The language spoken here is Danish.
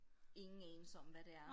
Ingen anelse om hvad det er